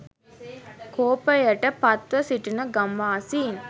කෝපයට පත්ව සිටින ගම්වාසීන්